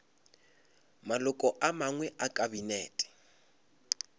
maloko a mangwe a kabinete